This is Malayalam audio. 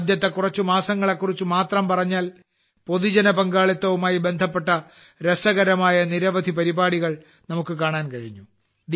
ആദ്യത്തെ കുറച്ച് മാസങ്ങളെ കുറിച്ച് മാത്രം പറഞ്ഞാൽ പൊതുജന പങ്കാളിത്തവുമായി ബന്ധപ്പെട്ട രസകരമായ നിരവധി പരിപാടികൾക്ക് നമുക്ക് കാണാൻ കഴിഞ്ഞു